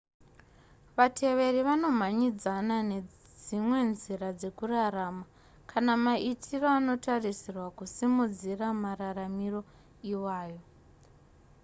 vatevereri vanomhanyidzana nedzimwe nzira dzekurarama kana maitiro anotarisirwa kusimudzira mararamiro iwayo